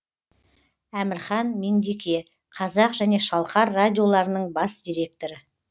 әмірхан меңдеке қазақ және шалқар радиоларының бас директоры